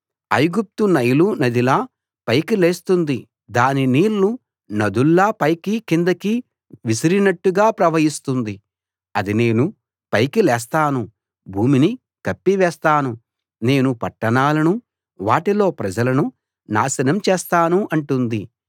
ఐగుప్తు నైలు నదిలా పైకి లేస్తుంది దాని నీళ్ళు నదుల్లా పైకీ కిందికీ విసిరినట్టుగా ప్రవహిస్తుంది అది నేను పైకి లేస్తాను భూమిని కప్పి వేస్తాను నేను పట్టణాలనూ వాటిలో ప్రజలనూ నాశనం చేస్తాను అంటుంది